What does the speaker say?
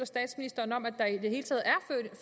statsministeren om at